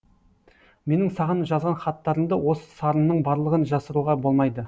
менің саған жазған хаттарымды осы сарынның барлығын жасыруға болмайды